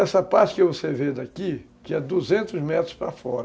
Essa parte que você vê daqui, tinha duzentos metros para fora.